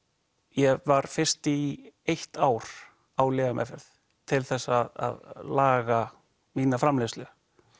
ég var fyrst í eitt ár á lyfjameðferð til þess að laga mína framleiðslu